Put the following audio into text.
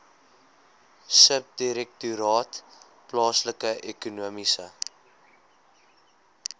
subdirektoraat plaaslike ekonomiese